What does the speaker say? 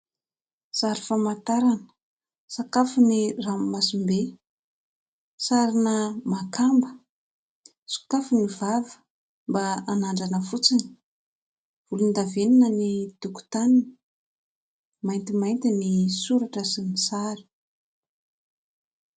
Sary famantarana sakafon'ny ranomasim-be. Sarina makamba, sokafy ny vava mba hanandrana fotsiny. Volondavenona ny tokotaniny, maintimainty ny soratra sy ny sary.